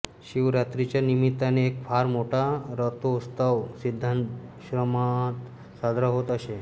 शिवरात्रीच्या निमित्ताने एक फार मोठा रथोत्सव सिद्धाश्रमात साजरा होत असे